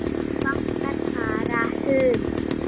Vantar bara hund.